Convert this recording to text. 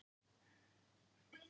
Staðan í heild